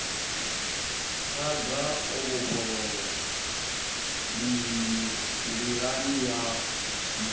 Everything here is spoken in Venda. khada o vhofholowa mililani yanu